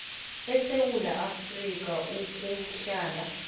esewula afrika ukuhlala